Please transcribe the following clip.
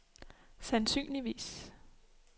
sandsynligvis